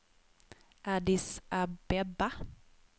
Addis Abeba